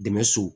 Dɛmɛ so